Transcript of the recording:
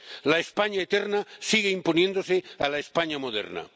La España eterna sigue imponiéndose a la España moderna.